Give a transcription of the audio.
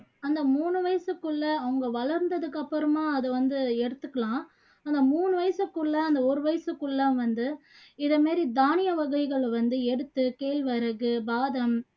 அந்த மூணு வயசுகுள்ள அவங்க வளந்ததுக்கு அப்பறமா அது வந்து எடுத்துக்கலாம் ஆனா மூணு வயசுக்குள்ள அந்த ஒரு வயசுக்குள்ள வந்து இதே மாதிரி தானிய வகைகள் வந்து எடுத்து கேழ்வரகு, பாதாம்